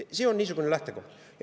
See on lähtekoht.